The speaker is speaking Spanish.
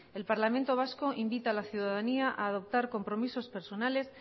el parlamento vasco invita a la ciudadanía a adoptar compromisos personales